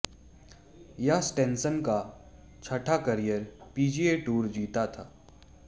यह स्टेनसन का छठा करियर पीजीए टूर जीत था